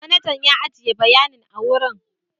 Manajan ya ajiye bayanin a wurin.